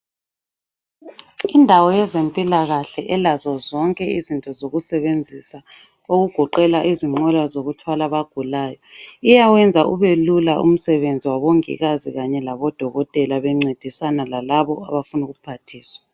Indawo yezempilakahle elazo zonke izinto zokusebenzisa okugoqela izinqola zokuthwala abagulayo. Iyawenza ubelula umsebenzi wabongikazi kanye labodokotela bencedisana lalabo abafuna ukuphathiswa.